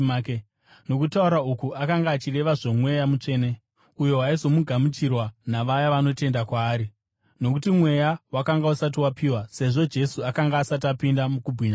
Nokutaura uku, akanga achireva zvoMweya Mutsvene, uyo waizogamuchirwa navaya vanotenda kwaari. Nokuti Mweya wakanga usati wapiwa, sezvo Jesu akanga asati apinda mukubwinya kwake.